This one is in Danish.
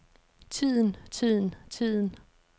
tiden tiden tiden